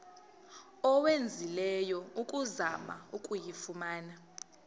owenzileyo ukuzama ukuyifumana